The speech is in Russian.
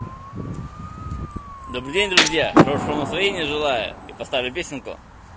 добрый день друзья хорошего настроения желаю и поставлю песенку